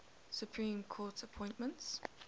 supreme court appointments